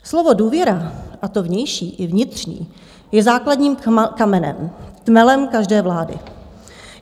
Slovo důvěra, a to vnější i vnitřní, je základním kamenem, tmelem každé vlády.